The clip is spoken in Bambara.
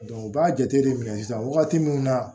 u b'a jate de minɛ sisan wagati min na